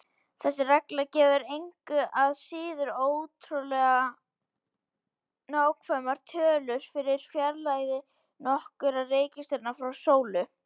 Þessi regla gefur engu að síður ótrúlega nákvæmar tölur fyrir fjarlægðir nokkurra reikistjarna frá sólu.